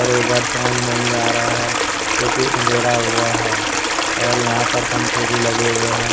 और उधर समझ नहीं आ रहा है क्योंकि अंधेरा हुआ है और यहां पर पंखे भी लगे हुए हैं।